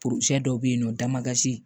dɔ bɛ yen nɔ damasi